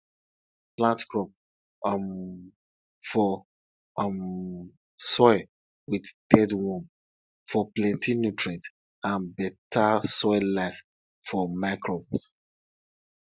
plant crop um for um soil with dead worm for plenty nutrient and better soil life for microbes